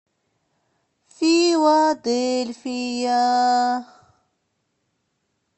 филадельфия